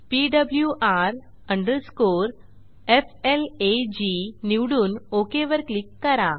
PWR FLAG निवडून OK वर click करा